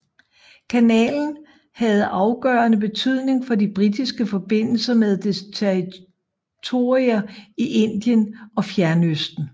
Kanalen havde afgørende betydning for de britiske forbindelser med dets territorier i Indien og Fjernøsten